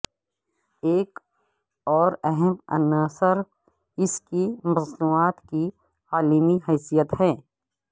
ایک اور اہم عنصر اس کی مصنوعات کی عالمی حیثیت ہے